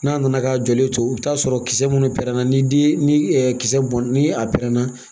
N'a nana k'a jɔlen to i bi t'a sɔrɔ kisɛ minnu pɛrɛnna ni den ni kisɛ bɔn ni a pɛrɛnna